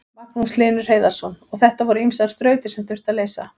Magnús Hlynur Hreiðarsson: Og þetta voru ýmsar þrautir sem þurfti að leysa?